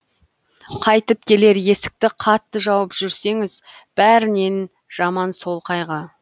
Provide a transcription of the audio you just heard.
қайтып келер есікті қатты жауып жүрсеңіз бәрінен жаман сол қайғы